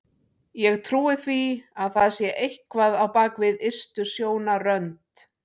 Ég trúi því að það sé eitthvað á bak við ystu sjónarrönd.